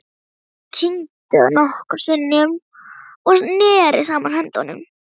Hann kyngdi nokkrum sinnum og neri saman höndunum.